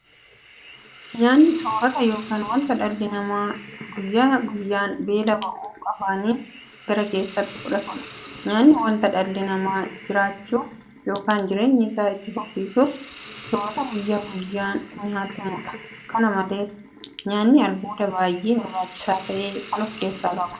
Nyaanni soorota yookiin wanta dhalli namaa guyyaa guyyaan beela ba'uuf afaaniin gara keessaatti fudhatudha. Nyaanni wanta dhalli namaa jiraachuuf yookiin jireenya isaa itti fufsiisuuf soorata guyyaa guyyaan nyaatamudha. Kana malees nyaanni albuuda baay'ee barbaachisaa ta'e kan ofkeessaa qabudha.